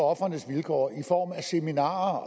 ofrenes vilkår i form af seminarer